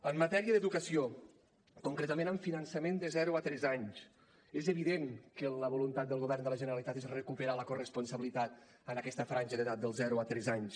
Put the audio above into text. en matèria d’educació concretament en finançament de zero a tres anys és evident que la voluntat del govern de la generalitat és recuperar la corresponsabilitat en aquesta franja d’edat dels zero a tres anys